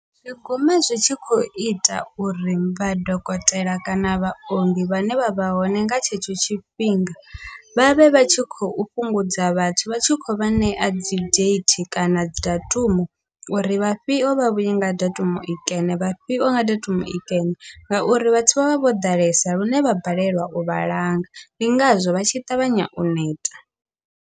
Zwi guma zwi tshi khou ita uri vha dokotela kana vhaongi vhane vha vha hone nga tshetsho tshifhinga, vhavhe vha tshi khou fhungudza vhathu vha tshi khou vha ṋea dzi date kana dzi datumu, uri vhafhio vha vhuye nga datumu i kene vhafhio nga datumu i kene ngauri vhathu vha vha vho ḓalesa lune vha balelwa u vhalanga, ndi ngazwo vha tshi ṱavhanya u neta.